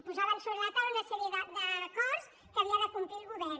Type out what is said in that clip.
posaven sobre la taula una sèrie d’acords que havia de complir el govern